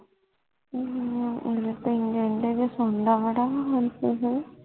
ਹੱਮ ਹੁਣ ਤੇ ਇੰਜ ਸੌਂਦਾ ਬੜਾ ਵੰਸੁਹ